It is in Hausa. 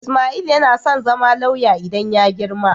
Ismail yana son zama lauya idan ya girma.